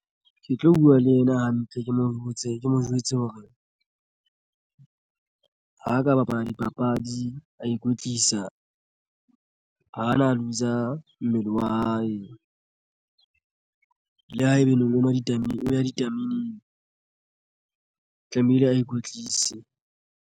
Ke tlo buwa le ena hantle ke mo jwetse hore ha ka bapala dipapadi a ikwetlisa ha na loose-a mmele wa hae le haebaneng o ya ditameneng tlamehile a ikwetlise.